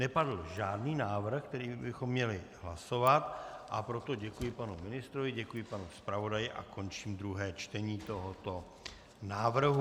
Nepadl žádný návrh, který bychom měli hlasovat, a proto děkuji panu ministrovi, děkuji panu zpravodaji a končím druhé čtení tohoto návrhu.